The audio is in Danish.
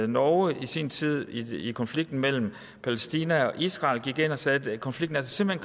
norge i sin tid i konflikten mellem palæstina og israel gik ind og sagde at konflikten simpelt